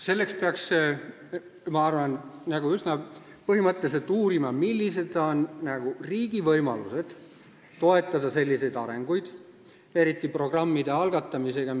Selleks peaks, ma arvan, üsna põhimõtteliselt uurima, millised on riigi võimalused toetada selliseid arengusuundi, eriti programmide algatamisel.